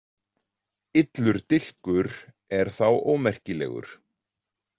Illur dilkur er þá ómerkilegur.